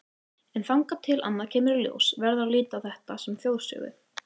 En þangað til annað kemur í ljós verður að líta á þetta sem þjóðsögu.